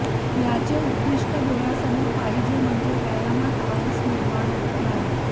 याचे उद्दिष्ठ डोळ्यासमोर पाहिजे म्हणजे व्यायामात आळस निर्माण होत नाही